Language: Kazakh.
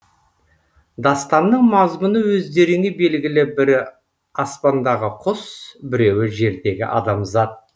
дастанның мазмұны өздеріңе белгілі бірі аспандағы құс біреуі жердегі адамзат